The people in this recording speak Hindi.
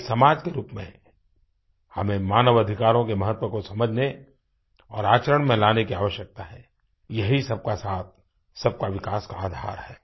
एक समाज के रूप में हमें मानव अधिकारों के महत्व को समझने और आचरण में लाने की आवश्यकता है ये ही सब का साथ सब का विकास का आधार है